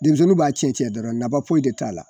Denmisɛnninw b'a tiɲɛ tiɲɛ dɔrɔn nafa foyi de t'a la.